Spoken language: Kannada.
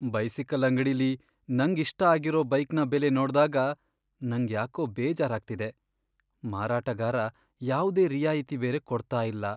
ಬೈಸಿಕಲ್ ಅಂಗಡಿಲಿ ನಂಗ್ ಇಷ್ಟ ಆಗಿರೋ ಬೈಕ್ನ ಬೆಲೆ ನೋಡ್ದಾಗ ನಂಗ್ ಯಾಕೋ ಬೇಜಾರಾಗ್ತಿದೆ. ಮಾರಾಟಗಾರ ಯಾವ್ದೆ ರಿಯಾಯಿತಿ ಬೇರೆ ಕೊಡ್ತಾ ಇಲ್ಲ.